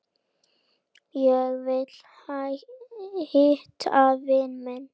Ég vil hitta vini mína.